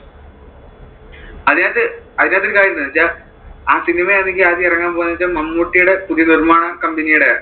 അതിനകത്ത് അതിനകത്ത് ഒരു കാര്യം ഉണ്ട് എന്ന് വെച്ചാൽ ആ cinema ആണെങ്കിൽ ആദ്യം ഇറങ്ങാൻ പോയത് എന്ന് വെച്ചാൽ മമ്മൂട്ടീടെ പുതിയ നിർമ്മാണ company യുടെയാ.